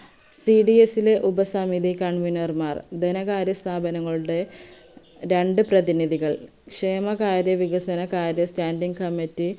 cds ലെ ഉപസമിതി covener മാർ ധനകാര്യ സ്ഥാപങ്ങളുടെ രണ്ട് പ്രധിനിതികൾ ക്ഷേമകാര്യ വികസനകാര്യ standing committy